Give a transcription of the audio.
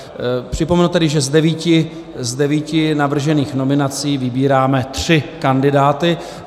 Připomenu tedy, že z devíti navržených nominací vybíráme tři kandidáty.